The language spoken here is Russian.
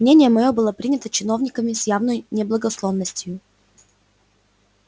мнение моё было принято чиновниками с явною неблагосклонностью